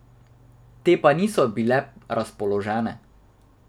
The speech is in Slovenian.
Te pa niso bile razpoložene.